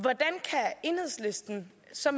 så